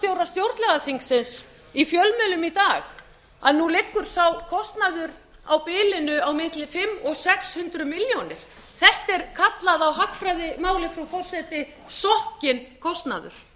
stjórnlagaþingsins í fjölmiðlum í dag að nú liggur sá kostnaður á bilinu á milli fimm hundruð og sex hundruð milljónir þetta er kallað á hagfræðimáli frú forseti sokkinn kostnaður þessir